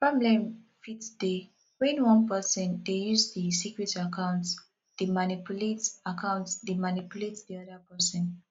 problem fit dey when one person de use di secret account dey manipulate account dey manipulate di oda person